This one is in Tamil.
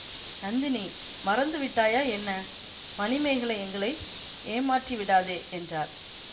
நந்தினி மறந்து விட்டாயா என்ன மணிமேகலை எங்களை ஏமாற்றி விடாதே என்றார்